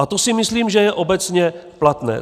A to si myslím, že je obecně platné.